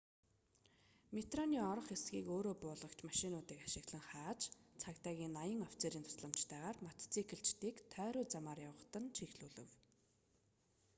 метроны орох хэсгийг өөрөө буулгагч машинуудыг ашиглан хааж цагдаагийн 80 офицерийн тусламжтайгаар мотоциклчидыг тойруу замаар явахад нь чиглүүлэв